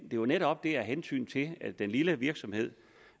jo netop af hensyn til den lille virksomhed